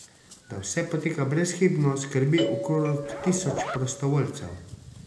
Da vse poteka brezhibno, skrbi okrog tisoč prostovoljcev.